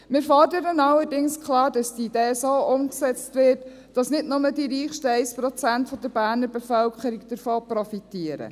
Wir fordern allerdings klar, dass die Idee so umgesetzt wird, dass nicht nur das reichste 1 Prozent der Berner Bevölkerung davon profitiert.